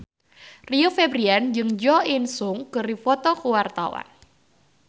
Rio Febrian jeung Jo In Sung keur dipoto ku wartawan